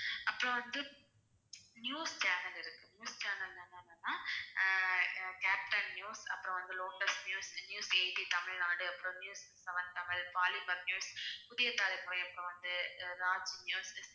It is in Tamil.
அப்புறம் வந்து news channel இருக்கு news channel ல் என்னென்னன்னா ஆஹ் கேப்டன் நியூஸ், அப்புறம் வந்து Lotus News, News Eighteen Tamil Nadu அப்புறம் News Seven Tamil, Polimer News, Puthiya Thalaimurai, அப்புறம் வந்து ராஜ் நியூஸ்